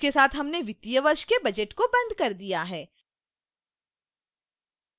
इसके साथ हमने वित्तीय वर्ष के budget को बंद कर दिया है